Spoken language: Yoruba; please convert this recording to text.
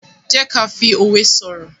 jé ká fí òwe soro.